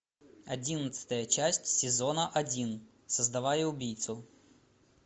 одиннадцатая часть сезона один создавая убийцу